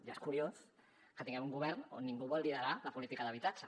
ja és curiós que tinguem un govern on ningú vol liderar la política d’habitatge